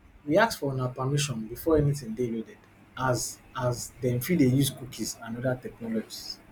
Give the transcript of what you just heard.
we ask for una permission before anytin dey loaded as as dem fit dey use cookies and oda technologies